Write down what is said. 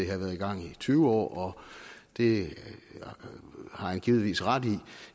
har været i gang i tyve år og det har han givetvis ret i